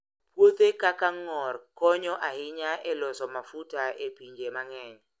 Puothe kaka ng'or konyo ahinya e loso mafuta e pinje mang'eny.